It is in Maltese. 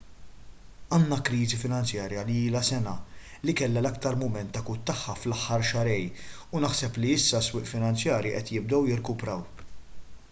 għandna kriżi finanzjarja li ilha sena li kellha l-aktar mument akut tagħha fl-aħħar xahrejn u naħseb li issa s-swieq finanzjarji qed jibdew jirkupraw